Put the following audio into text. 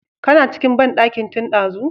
Kana cikin bandankin tun dazu?